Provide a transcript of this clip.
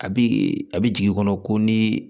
A bi a bi jigin i kɔnɔ ko ni